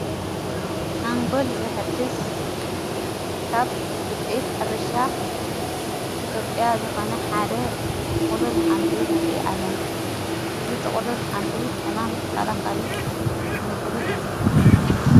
ሓንጎል ዝሕድስ ካብ ውፂአት ኅርሻ ኢትዮጵያ ዝኾነ ሓደ ጥቕሉል ኃምሊ ንርአ ኣለና። እዝ ጥቕሉል ኃምሊ ሕማም ተኸላኸሊ ምግቢ እዩ።